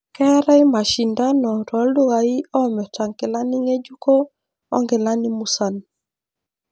Keetai mashindano tooldukai oomirta inkilani nge'juko onkilani musan.